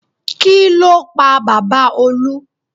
Kí ló pa bàbá Olú?